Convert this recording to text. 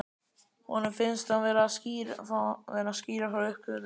Honum finnst hann vera að skýra frá uppgötvun.